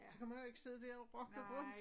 Så kan man jo ikke sidde dér og rokke rundt